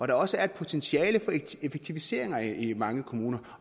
der også er et potentiale for effektiviseringer i mange kommuner